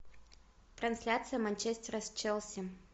трансляция манчестера с челси